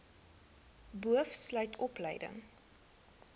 boov sluit opleiding